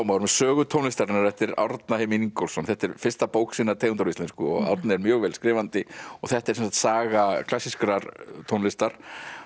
árum Sögu tónlistarinnar eftir Árna Heimi Ingólfsson þetta er fyrsta bók sinnar tegundar á íslensku og Árni er mjög vel skrifandi þetta er saga klassískrar tónlistar